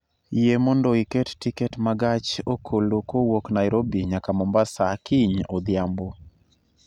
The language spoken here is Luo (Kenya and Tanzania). Yie mondo iket tiket ma gach okolokowuok Nairobi nyaka Mombasa kiny odhiambo